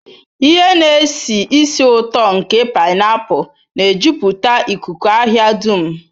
Ihe na-esi ísì ụtọ nke painapulu na-ejupụta ikuku ahịa dum.